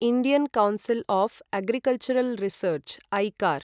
Indian council of agricultural research ICAR